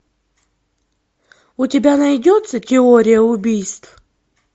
у тебя найдется теория убийств